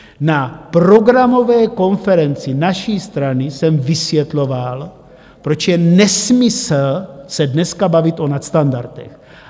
Na programové konferenci naší strany jsem vysvětloval, proč je nesmysl se dneska bavit o nadstandardech.